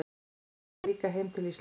Hugsaði líka heim til Íslands.